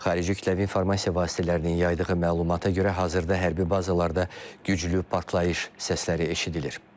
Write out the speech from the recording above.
Xarici kütləvi informasiya vasitələrinin yaydığı məlumata görə hazırda hərbi bazalarda güclü partlayış səsləri eşidilir.